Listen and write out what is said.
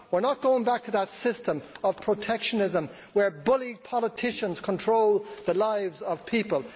We are not going back to that system of protectionism where bully politicians control the lives of people.